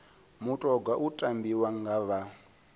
mutoga u tambiwa nga vha